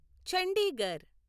Chandigarh